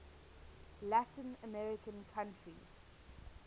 latin american country